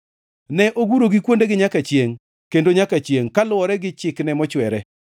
Ne ogurogi kuondegi nyaka chiengʼ kendo nyaka chiengʼ kaluwore gi chikne mochwere.